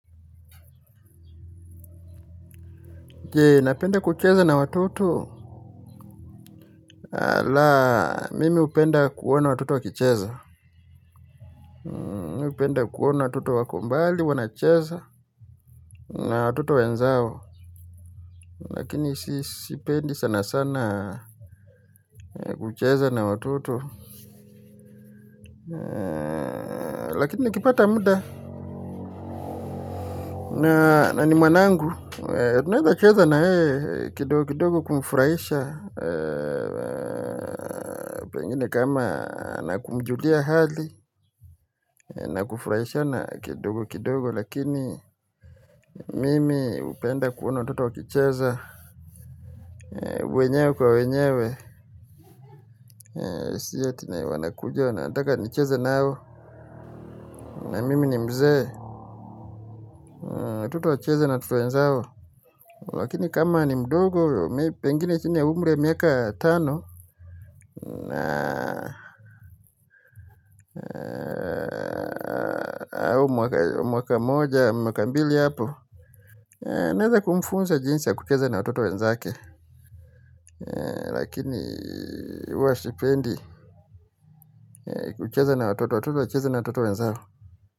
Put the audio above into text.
Napenda kucheza na watoto, ala mimi hupenda kuona watoto wakicheza. Napenda kuona watuto wako mbali, wanacheza, na watoto wenzao lakini sipendi sana sana kucheza na watoto. Lakini nikipata muda na ni mwanangu, tunawezacheza na yeye kidogo kidogo kumfuraisha. Pengine kama na kumjulia hali na kufuraishana kidogo kidogo si ati wanakuja, nataka nicheze nao, na mimi ni mzee, watoto wacheze na watoto wenzao. Lakini kama ni mdogo pengine chini ya umri miaka tano na au mwaka moja mwaka mbili hapo ninaweza kumfunza jinzi ya kucheza na watoto wenzake lakini huwa sipendi kucheza na wototo, watoto wacheze na watoto wenzao.